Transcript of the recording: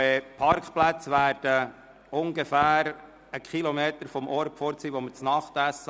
Die Parkplätze befinden sich ungefähr einen Kilometer von jenem Ort entfernt, an dem wir abendessen.